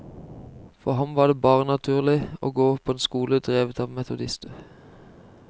For ham var det bare naturlig å gå på en skole drevet av metodister.